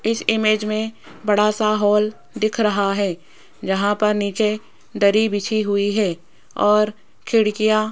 इस इमेज में बड़ा सा हॉल दिख रहा है जहां पर नीचे दरी बिछी हुई है और खिड़कियां --